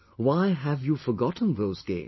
Why have you forgotten those games